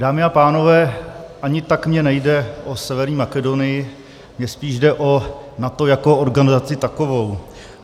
Dámy a pánové, ani tak mi nejde o Severní Makedonii, mně spíš jde o NATO jako organizaci takovou.